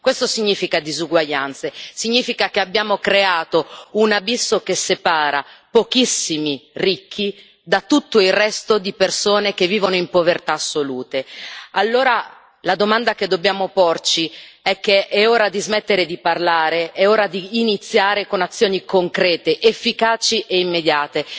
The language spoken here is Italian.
Questo significa disuguaglianze, significa che abbiamo creato un abisso che separa pochissimi ricchi da tutto il resto di persone che vivono in povertà assolute. Allora la domanda che dobbiamo porci è che è ora di smettere di parlare, è ora di iniziare con azioni concrete, efficaci e immediate.